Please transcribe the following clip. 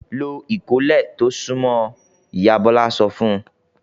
"Lo ìkọ́lé tó súnmọ́ ọ!" Ìyá Bọ́lá sọ fún un.